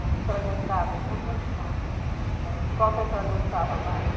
A senhora gostava de... Eu gostava de... Qual que a senhora gostava mais?